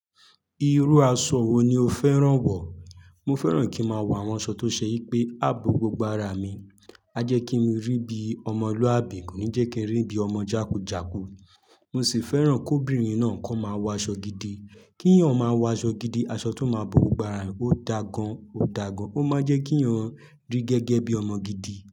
Irú aṣọ wo ni o fẹ́ràn wọ̀? Mo fẹ́ràn kí n máa wọ àwọn aṣọ tó ṣe yí pé á bo gbogbo ara mi. A jẹ́ kí n rí bí ọmọlúàbí, kò ní jẹ́ kí n rí bí ọmọ jàkújàkú. Mo sì fẹ́ràn kóbìnrin náà kọ́ máa wọ aṣọ gidi. Kí eeyàn máa wọ aṣọ gidi, aṣọ tó máa bo gbogbo ara, ó da gan, ó da gan. Ó máa jẹ́ kí eeyàn rí gẹ́gẹ́ bí ọmọ gidi.